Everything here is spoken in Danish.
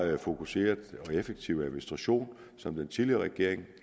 er en fokuseret og effektiv administration som den tidligere regering